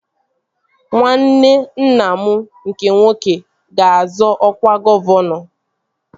Nwanne nna m nke nwoke ga-azọ ọkwa gọvanọ